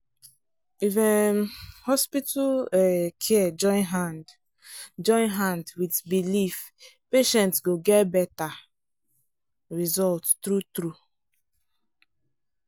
if um hospital um care join hand join hand with belief patient go get better result true-true.